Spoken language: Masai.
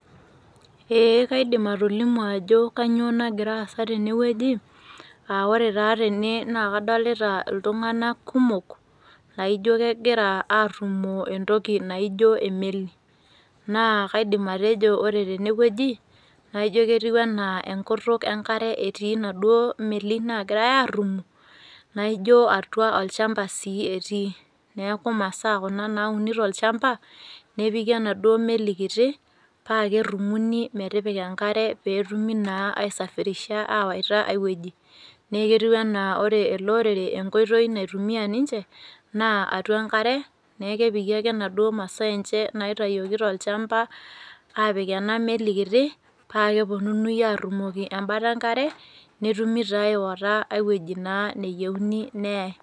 Eeh kaidim atolimu ajo kanyoo nagiraasa tenewueji aa ore taa tene naa kadolita iltung'ana kumok laaijo kegira aarrumoo entoki naijo emeli. Naa kaidim atejo ore tenewueji naaijo ketiu anaa enkutuk enkare etii naduo meli naagirai aarrumoo naaijo atua olchamba sii etii. Neaku masaa kuna naauni tolchamba nepiki enaduo cs]meli kiti paakerrumuni metipika enkare peetumi naa aisafirisha aawaita aiwueji. Neeketiu anaa ore eleorere enkoitoi naitumia ninche naa atua enkare, naakepiki ake naduo masaaenche naitayoki tolchamba aapik ena meli kiti paakepuonuni arrumoki embata enkare netumi taa awoita aiwueji naa nayeuni neyai.